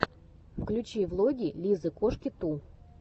включи влоги лизы коши ту